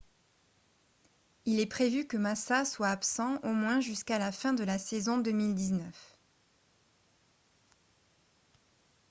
il est prévu que massa soit absent au moins jusqu'à la fin de la saison 2019